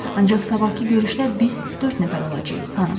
Ancaq sabahkı görüşdə biz dörd nəfər olacağıq, xanım.